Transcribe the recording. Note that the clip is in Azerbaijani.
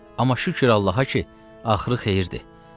Amma şükür Allaha ki, axırı xeyirdir.